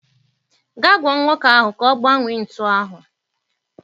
Gaa gwa nwoke ahụ ka ọ gbanwee ntu ahụ.